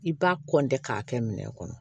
I b'a k'a kɛ minɛn kɔnɔ